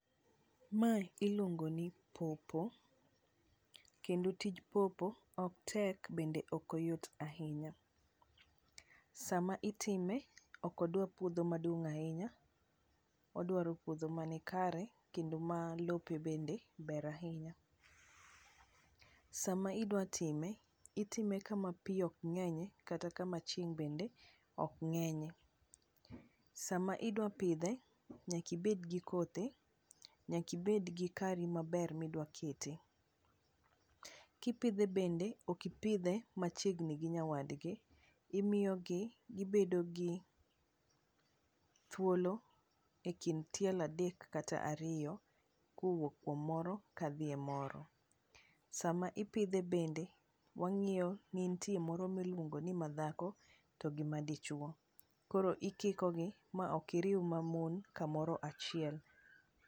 Mae iluongoni paw paw kendo tij paw paw ok tek bende ok oyot ahinya, sama itime ok odwar puodho maduong' ahinya, odwaro puodho manikare kendo ma lope bende ber ahinya. Sama idwa time, itime kama pi ok ng'enyye kata kama chieng' bende ok ng'enyye. Sama idwa pidhe, nyaka ibed gi kothe, nyaka ibed gi kari maber midwa kete. Kipidhe bende, ok ipidhe machiegni gi nyawadgi, imiyogi gibedo gi thuolo e kind tielo adek kata ariyo kowuok kuom moro kadhi e moro. Sama ipidhe bende, wang'iyo ni nitie moro miluongo ni madhako gi madichuwo, koro ikikogi ma ok iriw mamon kamoro achiel.